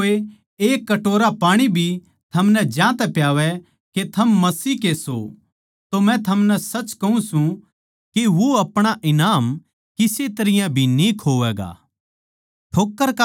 जै कोए एक कटोरा पाणी भी थमनै ज्यांतै प्यावै के थम मसीह के सो तो मै थमनै सच कहूँ सूं के वो अपणा ईनाम किसे तरियां भी न्ही खोवैगा